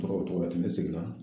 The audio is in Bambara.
Togo togo ni ne seginna